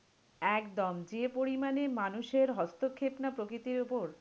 একদম যে পরিমাণে মানুষের হস্তক্ষেপ না প্রকৃতির উপর?